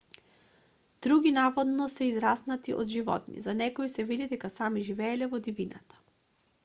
други наводно се израснати од животни за некои се вели дека сами живееле во дивината